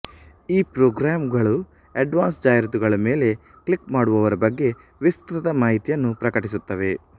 ಈ ಪ್ರೋಗ್ರಾಮ್ ಗಳು ಆಡ್ಸೆನ್ಸ್ ಜಾಹಿರಾತುಗಳ ಮೇಲೆ ಕ್ಲಿಕ್ ಮಾಡುವವರ ಬಗ್ಗೆ ವಿಸ್ತೃತ ಮಾಹಿತಿಯನ್ನು ಪ್ರಕಟಿಸುತ್ತವೆ